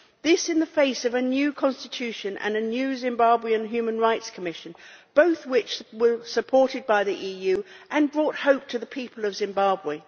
This is all taking place in the face of a new constitution and a new Zimbabwe Human Rights Commission, both of which were supported by the EU and brought hope to the people of Zimbabwe.